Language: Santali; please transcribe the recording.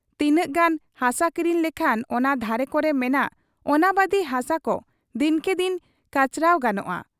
ᱛᱤᱱᱟᱹᱜ ᱜᱟᱱ ᱦᱟᱥᱟ ᱠᱤᱨᱤᱧ ᱞᱮᱠᱷᱟᱱ ᱚᱱᱟ ᱫᱷᱟᱨᱮ ᱠᱚᱨᱮ ᱢᱮᱱᱟᱜ ᱚᱱᱟᱵᱟᱫᱤ ᱦᱟᱥᱟᱠᱚ ᱫᱤᱱᱠᱮ ᱫᱤᱱ ᱠᱟᱪᱨᱟᱣ ᱜᱟᱱᱚᱜ ᱟ ᱾